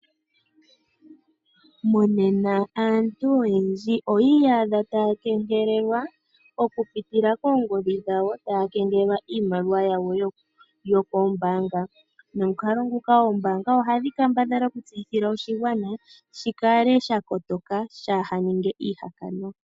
Monena aantu oyendji oyi iyadha taya kengelelwa okupitila koongodhi dhawo, taya kengelelwa iimaliwa yawo yokoombaanga. Nomukalo nguka oombaanga ohadhi kambadhala okutseyithila oshigwana shi kale sha kotoka shaa ha ninge iihakanwa.